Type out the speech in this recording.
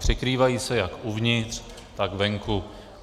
Překrývají se jak uvnitř, tak venku.